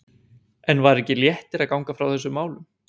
En var ekki léttir að ganga frá þessum málum?